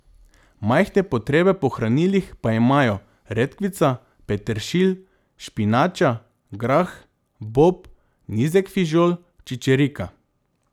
Majhne potrebe po hranilih pa imajo redkvica, peteršilj, špinača, grah, bob, nizek fižol, čičerka.